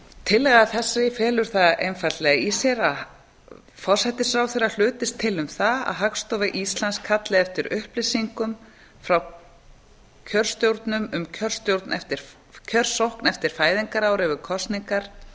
tillaga þessi felur það einfaldlega í sér að forsætisráðherra hlutist til um það að hagstofa íslands kalli eftir upplýsingum frá kjörstjórnum um kjörstjórnum eftir kjörsókn eftir fæðingarári við kosningar